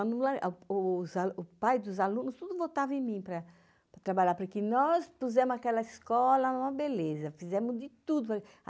O pai dos alunos tudo votava em mim para trabalhar, porque nós pusemos aquela escola numa beleza, fizemos de tudo.